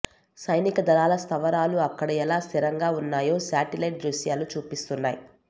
సైనిక దళాల స్థావరాలు అక్కడ ఎలా స్థిరంగా ఉన్నాయో శాటిలైట్ దృశ్యాలు చూపిస్తున్నాయి